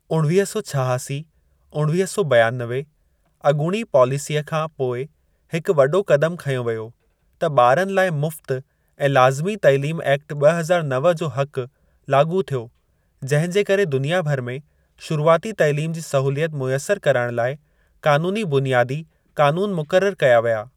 उणिवीह सौ छहासी/उणिवीह सौ ॿियानवे अॻूणी पॉलिसीअ खां पोइ हिकु वॾो क़दम खंयो वियो त 'ॿारनि लाइ मुफ़्त ऐं लाज़मी तइलीम एक्ट ब॒ हज़ार नव जो हक़' लाॻू थियो, जहिं जे करे दुनिया भर में शुरूआती तइलीम जी सहूलियत मुयसिर कराइण लाइ क़ानूनी बुनियादी कानून मुकररु कया विया।